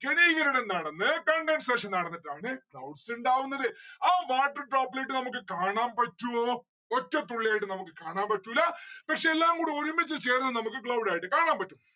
ഘനീകരണം നടന്ന് condensation നടന്നിട്ടാണ് clouds ഇണ്ടാവുന്നത്. ആ water droplet നമ്മുക്ക് കാണാൻ പറ്റുവോ? ഒറ്റ തുള്ളിയായിട്ട് നമ്മുക്ക് കാണാൻ പറ്റൂല്ല. പക്ഷെ എല്ലാം കൂടെ ഒരുമിച്ച് ചേർന്ന് നമ്മുക്ക് cloud ആയിട്ട് കാണാൻ പറ്റും.